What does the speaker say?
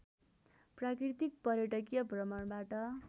प्राकृतिक पर्यटकीय भ्रमणबाट